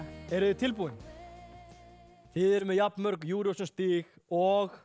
eruð þið tilbúin þið eruð með jafn mörg Eurovision stig og